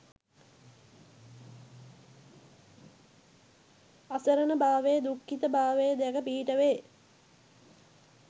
අසරණභාවය, දුක්ඛිත භාවය දැක පිහිට වේ.